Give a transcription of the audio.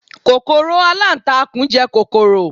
kòkòrò alantakun je kọkọrọ